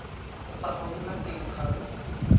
sa go nna teng ga